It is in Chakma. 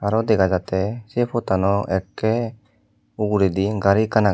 yot dega jatte sey pottano ekke uguredi gari ekkan agey.